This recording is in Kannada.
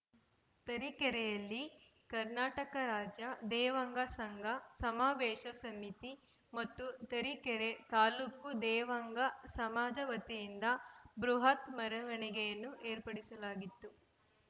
ತರೀಕೆರೆಯಲ್ಲಿ ಕರ್ನಾಟಕ ರಾಜ್ಯ ದೇವಾಂಗ ಸಂಘ ಸಮಾವೇಶ ಸಮಿತಿ ಮತ್ತು ತರೀಕೆರೆ ತಾಲೂಕು ದೇವಾಂಗ ಸಮಾಜ ವತಿಯಿಂದ ಬೃಹತ್‌ ಮೆರವಣಿಗೆಯನ್ನು ಏರ್ಪಡಿಸಲಾಗಿತ್ತು